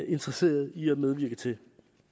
interesseret i at medvirke til